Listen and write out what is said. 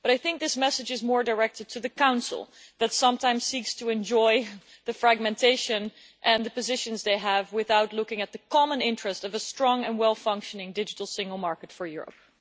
But I think this message is more directed to the Council that sometimes seeks to enjoy the fragmentation and the positions they have without looking at the common interest of a strong and well functioning digital single market for Europe.